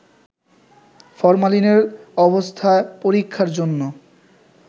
ফরমালিনের অবস্থা পরীক্ষার জন্য